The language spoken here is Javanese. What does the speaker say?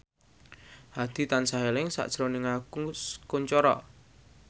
Hadi tansah eling sakjroning Agus Kuncoro